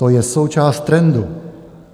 To je součást trendu.